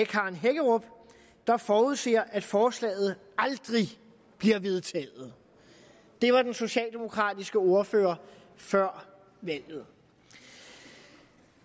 karen hækkerup der forudser at forslaget aldrig bliver vedtaget det var den socialdemokratiske ordfører før valget det